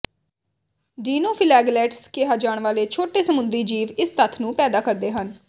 dinoflagellates ਕਿਹਾ ਜਾਣ ਵਾਲੇ ਛੋਟੇ ਸਮੁੰਦਰੀ ਜੀਵ ਇਸ ਤੱਥ ਨੂੰ ਪੈਦਾ ਕਰਦੇ ਹਨ